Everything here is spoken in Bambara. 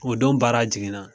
O don baara jiginna